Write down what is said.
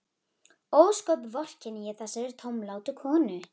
Ósköp vorkenni ég þessari tómlátu konu.